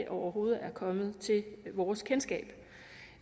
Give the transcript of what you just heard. overhovedet er kommet til vores kendskab